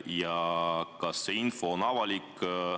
Ja kas see info on avalik?